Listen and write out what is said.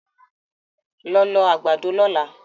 Lọ lọ àgbàdo lọ́la!